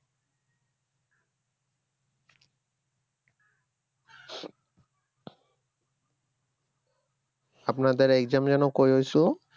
আপনাদের exam যেন কই হইছিলো